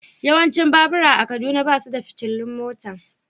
Yawancin babura a Kaduna ba su da fitilun mota.